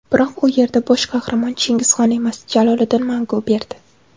Biroq u yerda bosh qahramon Chingizxon emas, Jaloliddin Manguberdi.